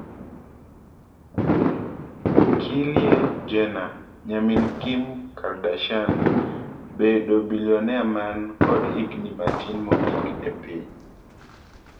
Kylie Jenner:Nyamin Kim Kardashian bedo billionea man kod higni matin mogik epiny